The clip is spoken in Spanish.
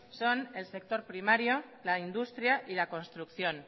son el sector primario la industria y la construcción